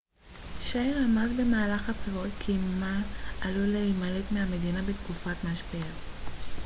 שיי רמז במהלך הבחירות כי מא עלול להימלט מהמדינה בתקופת משבר